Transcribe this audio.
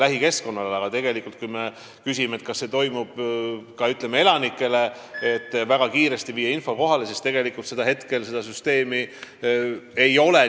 Aga kui te küsite, kas me saame kogu elanikkonnale kiiresti midagi teatada, siis vastan, et seda süsteemi ei ole.